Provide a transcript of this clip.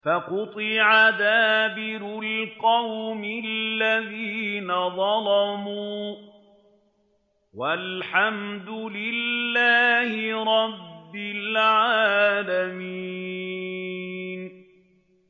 فَقُطِعَ دَابِرُ الْقَوْمِ الَّذِينَ ظَلَمُوا ۚ وَالْحَمْدُ لِلَّهِ رَبِّ الْعَالَمِينَ